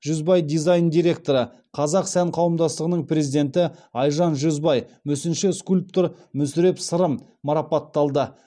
жүзбай дизайн директоры қазақ сән қауымдастығының президенті айжан жүзбай мүсінші скульптор мүсіреп сырым марапатталды